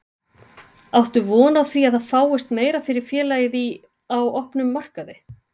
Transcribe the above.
Áttu von á því að það fáist meira fyrir félagið í, á opnum markaði?